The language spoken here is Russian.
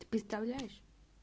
ты представляешь